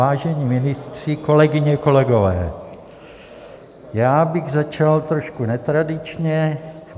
Vážení ministři, kolegyně, kolegové, já bych začal trošku netradičně.